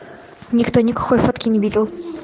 никто никакой фотки не видел